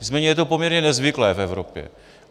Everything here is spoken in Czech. Nicméně je to poměrně nezvyklé v Evropě.